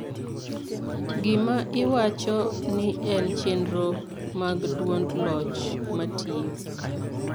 gima iwacho ni en chenro mag duond loch matiyo